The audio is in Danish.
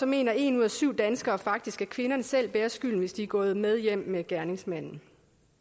mener en ud af syv danskere faktisk at kvinderne selv bærer skylden hvis de er gået med hjem med gerningsmanden